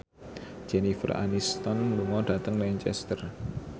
Jennifer Aniston lunga dhateng Lancaster